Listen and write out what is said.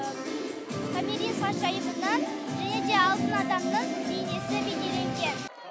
томирис ханшайымынан және де алтын адамның бейнесі бейнеленген